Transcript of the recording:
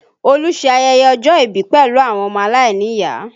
Olu ṣe ayẹyẹ ọjọ́ ìbí pẹ̀lú àwọn ọmọ aláìníyàá